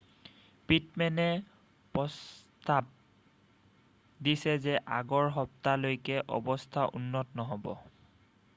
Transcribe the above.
পিটমেনে প্ৰস্তাৱ দিছে যে আগৰ সপ্তাহলৈকে অৱস্থাৰ উন্নতি নহ'ব